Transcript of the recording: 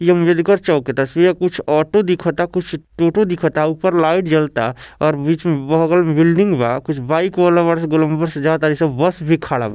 इ अम्बेडकर चौक के तस्वीर है कुछ ऑटो दिखता कुछ टोटो दिखता ऊपर लाइट जलता और बीच में बगल में बिल्डिंग बा कुछ बाइक वाला ऊपर से गोलमबर से जाता ऐसे बस भी खड़ा बा ।